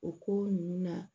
O ko ninnu na